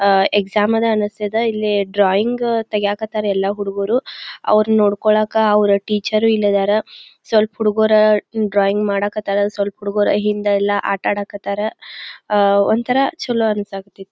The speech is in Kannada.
ಅಹ್ ಎಕ್ಸಾಮ್ ಅನ ಅನ್ನಸ್ತಿದ ಇಲ್ಲಿ ಡ್ರಾಯಿಂಗ್ ತಗಿಯಾಕತ್ತಾರೆ ಎಲ್ಲಾ ಹುಡುಗುರು ಅವ್ರು ನೋಡಕೋಳಕ ಅವ್ರ್ ಟೀಚರ್ ಇಲ್ಲಿ ಇದಾರ ಸ್ವಲ್ಪ್ ಹುಡುಗುರಾ ಮ್ ಡ್ರಾಯಿಂಗ್ ಮಾಡಕತ್ತರ ಸ್ವಲ್ಪ ಹುಡುಗುರ ಹಿಂದೆಲ್ಲಾ ಆಟಡಕತ್ತಾರ ಅ ಒಂತರ ಚಲೋ ಅನ್ಸತಿ.